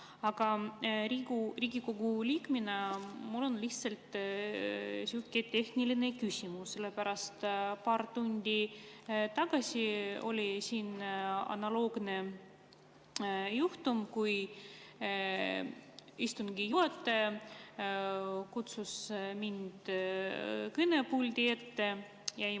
Aga Riigikogu liikmena mul on lihtsalt tehniline küsimus, sellepärast et paar tundi tagasi oli analoogne juhtum, kui istungi juhataja kutsus mind kõnepulti.